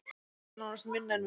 Þær eru nánast minni en við